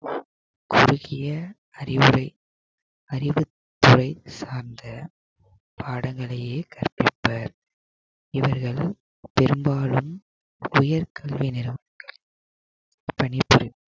குறுகிய அறிவுரை~ அறிவுத்துறை சார்ந்த பாடங்களையே கற்பிப்பர் இவர்கள் பெரும்பாலும் உயர்கல்வி நிறுவனத்தில் பணிபுரியும்